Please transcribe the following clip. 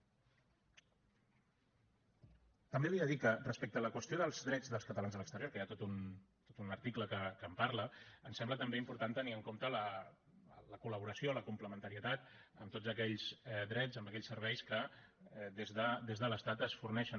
també li he de dir que respecte a la qüestió dels drets dels catalans a l’exterior que hi ha tot un article que en parla ens sembla també important tenir en compte la col·laboració la complementarietat amb tots aquells drets amb aquells serveis que des de l’estat es forneixen